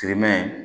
Sirimɛ